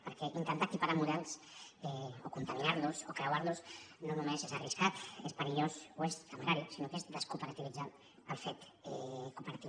perquè intentar equiparar models o contaminar los o creuar los no només és arriscat és perillós o és temerari sinó que és descooperativitzar el fet cooperatiu